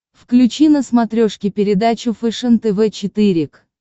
включи на смотрешке передачу фэшен тв четыре к